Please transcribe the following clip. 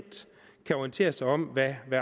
kan orientere sig om hvad